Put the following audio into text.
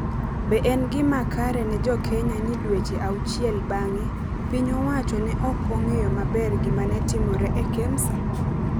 Be en gima kare ne jo Kenya ni dweche auchiel bang’e, piny owacho ne ok ong’eyo maber gima ne timore e Kemsa?,